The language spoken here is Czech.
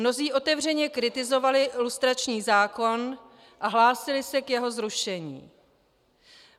Mnozí otevřeně kritizovali lustrační zákon a hlásili se k jeho zrušení.